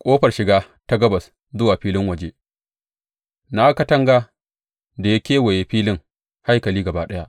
Ƙofar shiga ta gabas zuwa filin waje Na ga katanga da ya kewaye filin haikali gaba ɗaya.